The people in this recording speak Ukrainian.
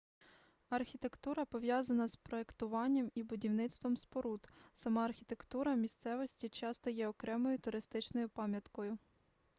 архітектура пов'язана з проектуванням і будівництвом споруд сама архітектура місцевості часто є окремою туристичною пам'яткою